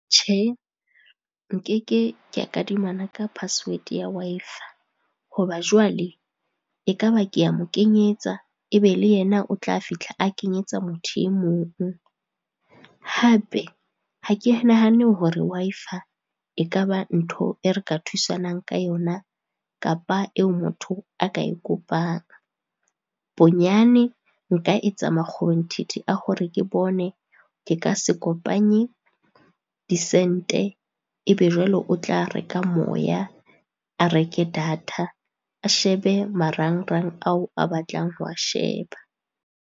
Tjhe, nkeke kea kadimana ka password ya Wi-Fi, ho ba jwale e ka ba ke a mo kenyetsa e be le yena o tla fihla a kenyetsa motho e mong. Hape, ha ke nahane hore Wi-Fi e ka ba ntho e re ka thusanang ka yona, kapa eo motho a ka e kopang. Bonyane nka etsa makgobonthithi a hore ke bone ke ka se kopanye disente, e be jwale o tla reka moya, a reke data, a shebe marangrang ao a batlang ho a sheba.